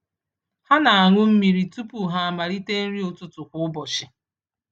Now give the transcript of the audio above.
Ha na-aṅụ mmiri tupu ha amalite nri ụtụtụ kwa ụbọchị.